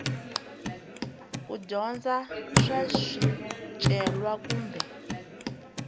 ku dyondza swa swicelwa kumbe